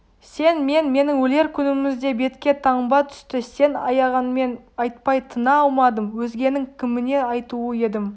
сен мен менің өлер күнімізде бетке таңба түсті сен аяғанмен айтпай тына алмадым өзгенің кіміне айтулы едім